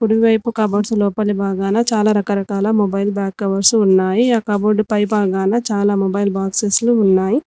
కుడివైపు కబోర్డ్స్ లోపలి భాగాన చాలా రకరకాల మొబైల్ బ్యాక్ కవర్స్ ఉన్నాయి ఆ కబోర్డ్ పై భాగాన చాలా మొబైల్ బాక్సెస్ లో ఉన్నాయి.